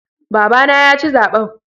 Babana yaci zaɓen.